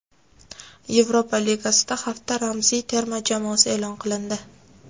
Yevropa Ligasida hafta ramziy terma jamoasi e’lon qilindi !